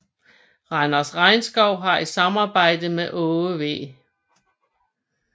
Randers Regnskoven har i samarbejde med Aage V